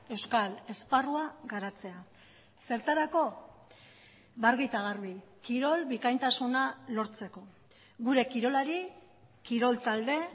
euskal esparrua garatzea zertarako argi eta garbi kirol bikaintasuna lortzeko gure kirolari kirol talde